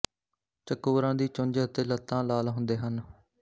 ਚਕੋਰਾਂ ਦੀ ਚੁੰਝ ਅਤੇ ਲੱਤਾਂ ਲਾਲ ਹੁੰਦੇ ਹਨ